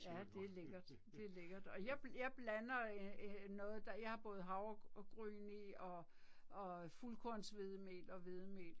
Ja det er lækkert. Det er lækkert og jeg jeg blander øh øh noget der jeg har både havregryn i og og fuldkornshvedemel og hvedemel